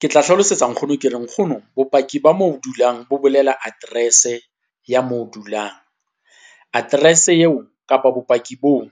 Ke tla hlalosetsa nkgono ke re nkgono, bopaki ba moo o dulang bo bolela address-e ya moo dulang. Address eo kapa bopaki boo